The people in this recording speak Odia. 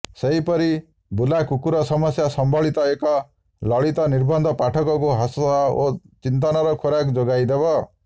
ସେହିପରି ବୁଲାକୁକୁର ସମସ୍ୟା ସମ୍ବଳିତ ଏକ ଲଳିତ ନିବନ୍ଧ ପାଠକଙ୍କୁ ହସ ଓ ଚିନ୍ତନର ଖୋରାକ୍ ଯୋଗାଇଦେବ